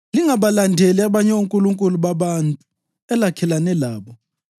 Lingabalandeli abanye onkulunkulu babantu elakhelene labo;